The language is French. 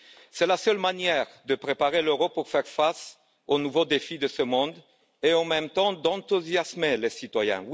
C'est la seule manière de préparer l'Europe à faire face aux nouveaux défis de ce monde et, en même temps, d'enthousiasmer les citoyens.